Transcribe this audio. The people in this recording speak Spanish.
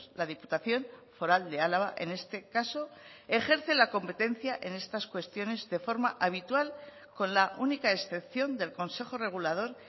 la diputación foral de álava en este caso ejerce la competencia en estas cuestiones de forma habitual con la única excepción del consejo regulador